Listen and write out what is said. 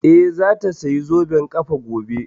Eh, za ta saya zoben ƙafa gobe